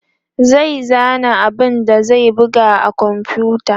zai zana abun da zai buga a komfuta